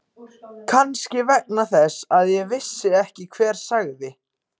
Kannski vegna þess að ég vissi ekki hver sagði.